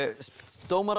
dómarar